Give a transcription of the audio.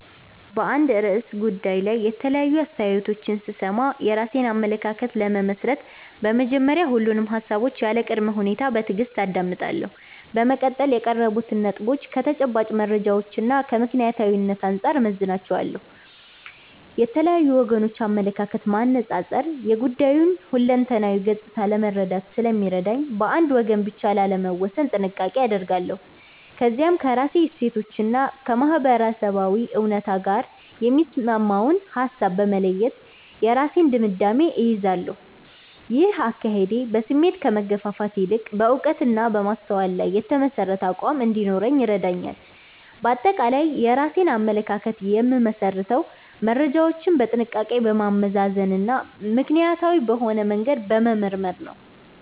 በአንድ ርዕሰ ጉዳይ ላይ የተለያዩ አስተያየቶችን ስሰማ፣ የራሴን አመለካከት ለመመስረት በመጀመሪያ ሁሉንም ሃሳቦች ያለ ቅድመ ሁኔታ በትዕግስት አዳምጣለሁ። በመቀጠል የቀረቡትን ነጥቦች ከተጨባጭ መረጃዎችና ከምክንያታዊነት አንጻር እመዝናቸዋለሁ። የተለያዩ ወገኖችን አመለካከት ማነጻጸር የጉዳዩን ሁለንተናዊ ገጽታ ለመረዳት ስለሚረዳኝ፣ በአንድ ወገን ብቻ ላለመወሰን ጥንቃቄ አደርጋለሁ። ከዚያም ከራሴ እሴቶችና ከማህበረሰባዊ እውነት ጋር የሚስማማውን ሃሳብ በመለየት የራሴን ድምዳሜ እይዛለሁ። ይህ አካሄድ በስሜት ከመገፋፋት ይልቅ በዕውቀትና በማስተዋል ላይ የተመሠረተ አቋም እንዲኖረኝ ይረዳኛል። ባጠቃላይ የራሴን አመለካከት የምመሰርተው መረጃዎችን በጥንቃቄ በማመዛዘንና ምክንያታዊ በሆነ መንገድ በመመርመር ነው።